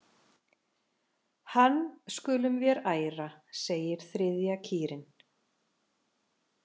Hann skulum vér æra segir þriðja kýrin.